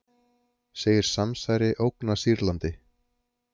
Segir samsæri ógna Sýrlandi